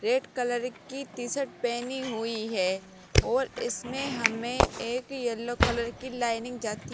red colour की t-shirt पेनी हुई है और इसमें हमें एक येलो कलर की लाइनिंग जाती --